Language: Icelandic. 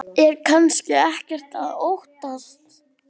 Er kannski ekkert að óttast?